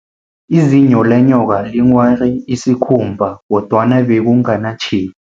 Izinyo lenyoka linghware isikhumba, kodwana bekunganatjhefu.